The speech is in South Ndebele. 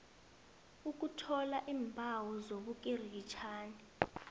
ukuthola iimbawo zobukirikitjani